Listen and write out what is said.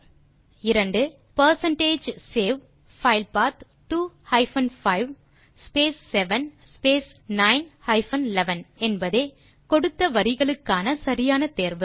இரண்டாம் கேள்விக்கு விடை percentage save file path 2 hyphen 5 space 7 space 9 hyphen 11 என்பதே கொடுத்த கோடு வரிகளுக்கான சரியான தேர்வு